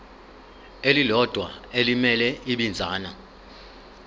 elilodwa elimele ibinzana